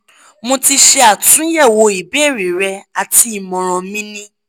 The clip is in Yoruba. mo ti ṣe atunyẹwo ìbéèrè rẹ ati imọran mi ni